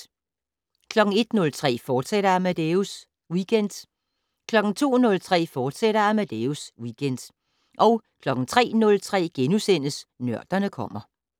01:03: Amadeus Weekend, fortsat 02:03: Amadeus Weekend, fortsat 03:03: Nørderne kommer *